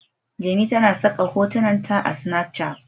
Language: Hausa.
Jemi tana saka hotunan ta a Snapchat